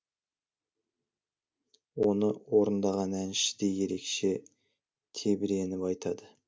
оны орындаған әнші де ерекше тебіреніп айтады